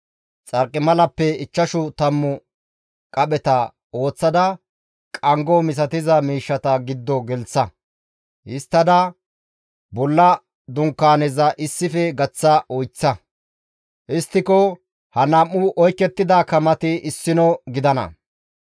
Xarqimalappe ichchashu tammu qapheta ooththada, qanggo misatiza miishshata giddo gelththa; histtada bolla dunkaaneza issife gaththa oyththa. Histtiko ha nam7u oykettida kamati issino gidana.